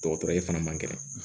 Dɔgɔtɔrɔ ye fana man kɛnɛ